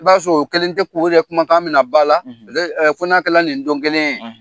I b'a sɔrɔ o kelen tɛ ku de kumakan mina ba la ko'akɛla nin don kelen